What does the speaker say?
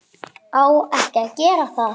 Á ekki að gera það.